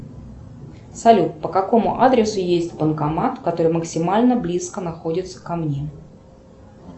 салют по какому адресу есть банкомат который максимально близко находится ко мне